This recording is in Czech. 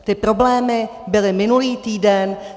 Ty problémy byly minulý týden.